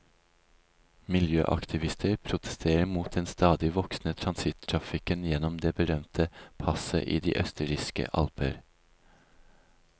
Miljøaktivister protesterer mot den stadig voksende transittrafikken gjennom det berømte passet i de østerrikske alper.